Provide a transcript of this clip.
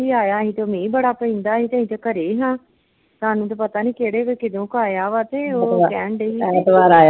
ਕਲਸੀ ਆਇਆ ਹੀ ਤੇ ਮੀਂਹ ਬੜਾ ਪੈਂਦਾ ਹੀ ਤੇ ਅਸੀਂ ਤੇ ਘਰੇ ਹੀ ਹਾਂ ਸਾਨੂੰ ਤੇ ਪਤਾ ਨੀ ਹੀ ਕਿਹੜੇ ਵੇਲੇ ਕਦੋਂ ਕਿ ਆਇਆ ਵਾਂ ਤੇ ਓਹ ਕਹਿਣ ਡੀ ਹੀ ਬਈ